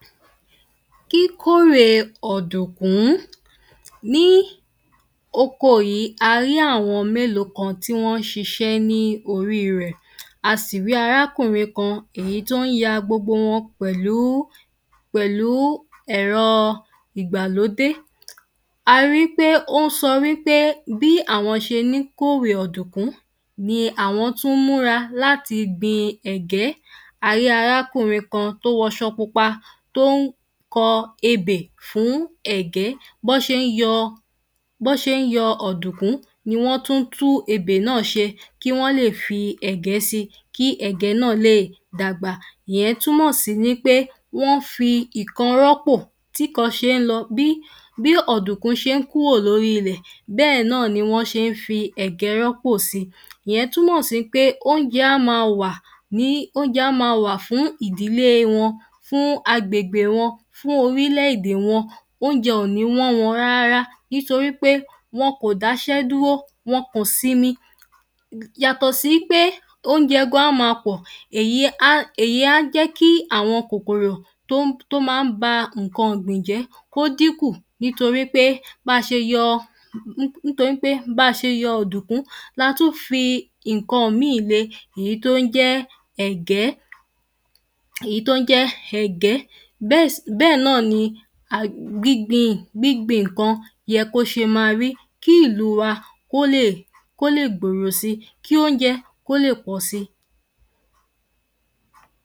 kíkórè ọ̀dùnkún ní oko yìí a rí àwọn mélòó kan tí wọ́n ń ṣiṣẹ́ ní orí rẹ̀ a sì rí arákùnrin kan èyí tó ń yaa gbogbo wọn pẹ̀lú, pẹ̀lú, ẹ̀rọ ìgbàlódé a rí pe ó ń sọ wípé bí àwọn ṣe ní kórè ọ̀dùnkún ni àwọn tún ń múra láti gbin ẹ̀gẹ́ a rí arákùnrin kan tó wọṣọ pupa tó ń kọ ebè fún ẹ̀gẹ́, bọ́n ṣe ń yọ, ṣe ń yọ ọ̀dùnkún ni wọ́n tún ń tú ebè náà ṣe kí wọ́n lè fi ẹ̀gẹ́ sí i kí ẹ̀gẹ́ náà lè dàgbà, ìyẹn túmọ̀ sí nípé wọ́n fi ì rọ́pò tí ìkan ṣe ń lọ bí ọ̀dùnkún ṣe ń kúrò lórí ilẹ̀ bẹ́ẹ̀ náà ni wọn ṣe ń fi ẹ̀gẹ́ rọ́pò si, ìyẹn túmọ sí pé oúnjẹ á máa wà ni oúnjẹ á máa wà fún ìdílé wọn, fún agbègbè wọn, fún orílẹ̀ èdè wọn, oúnjẹ ò ní wọ́n wọn rárá nítorí pé wọn kò dáṣẹ́ dúró, wọn kò sinmi yàtọ̀ sí í pé oúnjẹ gan-an á máa pọ̀, èyí á jẹ́ kí àwọn kòkorò tó máa ń ba nǹkan ọ̀gbìn jẹ́ kó dínkù nítorí pé ba ṣe yọ... nítorí pé ba ṣe yọ ọ̀dùnkún la tún fi nǹkan mìín le, èyí tó ń jẹ́ ẹ̀gẹ́, èyí tó ń jẹ́ ẹ̀gẹ́ bẹ́ẹ̀ náà ni gbín gbin gbín gbin nǹkan yẹ kó ṣe ma rí kí ìlú wa kó lè, kó lè gbòòro sí, kí oúnjẹ kó lè pọ̀ si